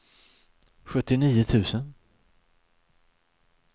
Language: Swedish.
sjuttionio tusen